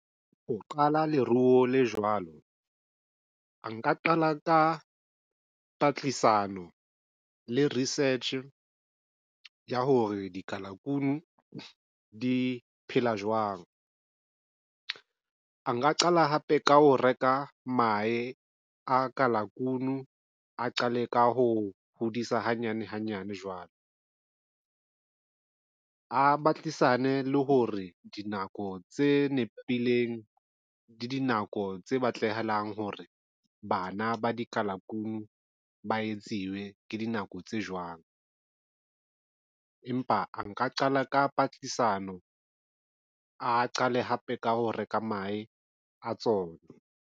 Ho qala leruo le jwalo a nka qala ka patlisano le research ya hore dikalakunu di phela jwang. Nka qala hape ka ho reka mahe a kalakunu a qale ka ho hodisa hanyane hanyane jwalo a batlisa mane le ho re dinako tse nepileng le dinako tse batlahalang hore bana ba dikalakunu ba etsiwe ke dinako tse jwang. Empa a nka qala ka patlisiso mano a qale hape ka ho reka mahe a tsona.